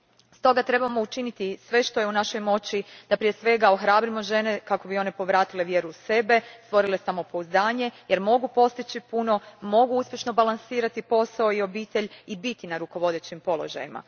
Stoga, trebamo učiniti sve što je u našoj moći da, prije svega, ohrabrimo žene kako bi one povratile vjeru u sebe, stvorile samopouzdanje jer mogu postići puno, mogu uspješno balansirati posao i obitelj i biti na rukovodećim položajima.